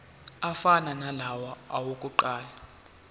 afana nalawo awokuqala